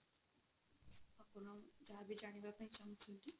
ଆପଣ ଯାହା ବି ଜାଣିବା ପାଇଁ ଚାହୁଁଛନ୍ତି